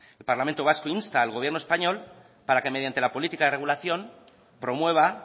el parlamento vasco insta al gobierno español para que mediante la política de regulación promueva